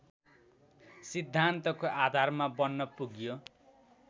सिद्धान्तको आधार बन्न पुग्यो